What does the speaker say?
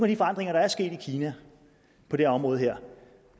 de forandringer der er sket i kina på det område her